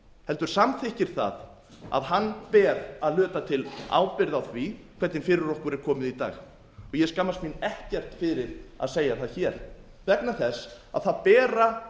heldur samþykkir það að hann ber að hluta til ábyrgð á því hvernig fyrir okkur er komið i dag ég skammast mín ekkert fyrir að segja það hér vegna þess að það bera